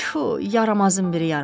Tfu, yaramazın biri yaramaz!